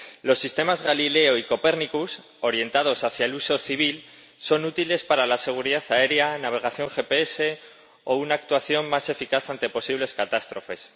Los sistemas Galileo y Copernicus orientados hacia el uso civil son útiles para la seguridad aérea, navegación GPS o una actuación más eficaz ante posibles catástrofes.